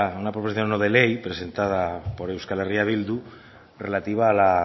no de ley presentada por euskal herria bildu relativa a la